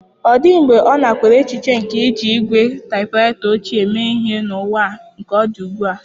Ọ dịghị mgbe ọ nakweere echiche nke iji ígwè taịpụraịta ochie eme ihe n'ụwa nke ọ dị ugbu a.